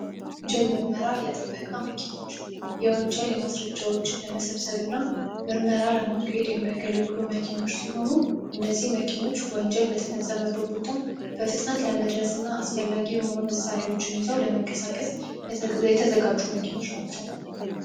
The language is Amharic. የወንጀል ምርመራ የጥበቃ መኪኖች የወንጀል ማስረጃን ለመመርመርና ምርመራ ለመካሄድ የሚያገለግሉ መኪኖች ሲሆኑ እነዚህ መኪኖች ወንጀል በተፈጸመበት ቦታ በፍጥነት ለመድረስና አስፈላጊ የሆኑ መሳሪያዎችን ይዘው ለመንቀሳቀስ የተዘጋጁ መኪናዎች ናቸው።